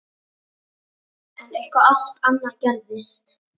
En eitthvað allt annað gerðist.